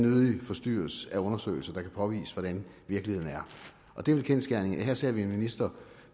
forstyrres af undersøgelser der kan påvise hvordan virkeligheden er det er vel kendsgerningen at vi her ser en minister